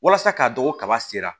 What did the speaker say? Walasa k'a dɔn ko kaba sera